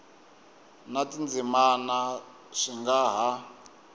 na tindzimana swi nga ha